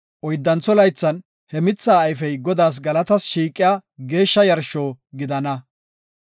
Oyddantho laythan he mithaa ayfey Godaas galatas shiiqiya geeshsha yarsho gidana.